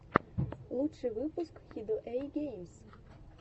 лучший выпуск хидуэйгеймс